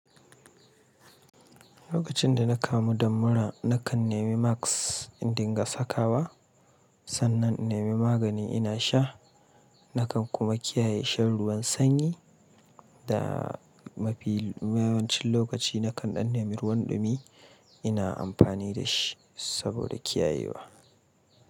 Lokacin da na kamu da mura, na kan nemi masks in dinga sakawa, sannan in nemi magani ina sha. Na kan kuma kiyaye shan ruwan sanyi da mafi yawancin lokaci na kan ɗan nemi ruwan ɗumi ina amfani da shi saboda kiyayewa.